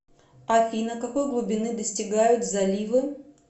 афина какой глубины достигают заливы